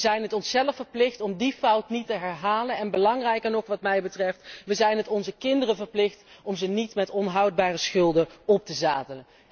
We het zijn het onszelf verplicht om die fout niet te herhalen en, belangrijker nog, we zijn het onze kinderen verplicht om ze niet met onhoudbare schulden op te zadelen.